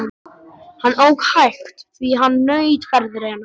Hann ók hægt því hann naut ferðarinnar.